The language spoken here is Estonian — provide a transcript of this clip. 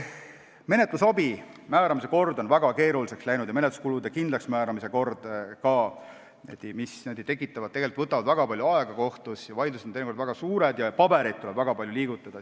Menetlusabi määramise ja ka menetluskulude kindlaksmääramise kord on väga keeruliseks läinud, need võtavad kohtus palju aega, vaidlused on teinekord suured ja paberit tuleb palju liigutada.